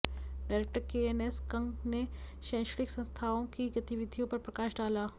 director KNS Kang ने शैक्षणिक संस्थाओं की गतिविधियों पर प्रकाश डाला